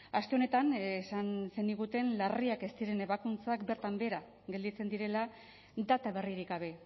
aste honetan esan zeniguten larriak ez ziren ebakuntzak bertan behera gelditzen direla data berririk gabe